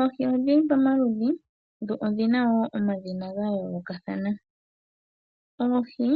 Oohi odhili pamaludhi, dho odhili woo dha yolokathana, oohi